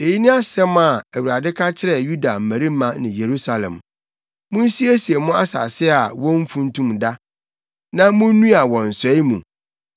Eyi ne asɛm a, Awurade ka kyerɛ Yuda mmarima ne Yerusalem: “Munsiesie mo asase a womfuntum da, na munnnua wɔ nsɔe mu.